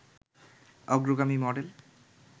অগ্রগামী মডেল